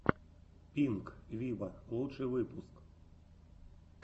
пинк виво лучший выпуск